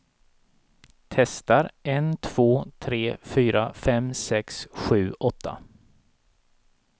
Testar en två tre fyra fem sex sju åtta.